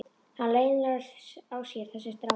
Hann leynir á sér þessi strákur.